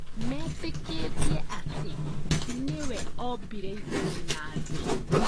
Metĩkĩtie atĩ nĩwe ombire igũrũ na thĩ